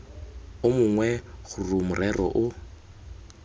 o mongwe gore morero o